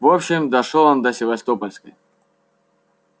в общем дошёл он до севастопольской